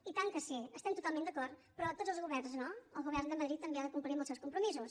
i tant que sí hi estem totalment d’acord però tots els governs no el govern de madrid també ha de complir amb els seus compromisos